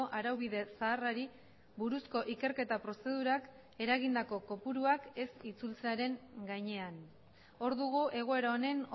araubide zaharrari buruzko ikerketa prozedurak eragindako kopuruak ez itzultzearen gainean hor dugu egoera honen